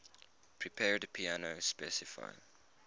prepared piano specify